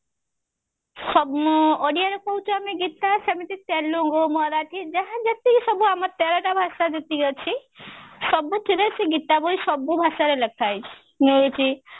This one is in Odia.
ସବୁ ଓଡିଆରେ କହୁଛୁ ଆମେ ଗୀତା ସେମିତି ତେଲୁଗୁ ମାରାଠି ଯାହା ଯେତିକି ସବୁ ଆମର ତେରଟା ଭାଷା ଯେତିକି ଅଛି ସବୁଥିରେ ସେ ଗୀତା ବହି ସବୁ ଭାଷାରେ ଲେଖା ହେଇଛି ମିଳୁଛି